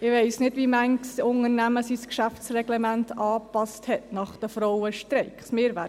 – Ich weiss nicht, wie viele Unternehmen ihre Geschäftsreglemente nach den Frauenstreiks angepasst haben;